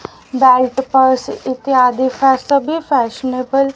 belt purse इत्यादि सभी fashionable --